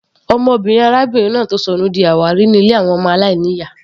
Ọmọbìnrin arábìnrin náà tó sọnù di àwárí ní ilé àwọn ọmọ aláìní ìyá.